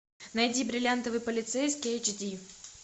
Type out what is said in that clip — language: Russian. найди бриллиантовый полицейский эйч ди